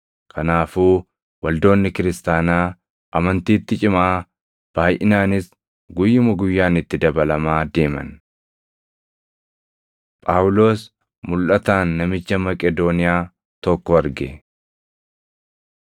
Kanaafuu waldoonni kiristaanaa amantiitti cimaa, baayʼinaanis guyyuma guyyaan itti dabalamaa deeman. Phaawulos Mulʼataan Namicha Maqedooniyaa Tokko Arge